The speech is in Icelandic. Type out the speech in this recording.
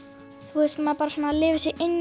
þú veist maður bara svona lifir sig inn